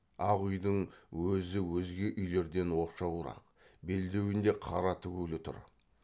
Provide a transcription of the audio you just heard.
ақ үйдің өзі өзге үйлерден оқшауырақ белдеуінде қара тігулі тұр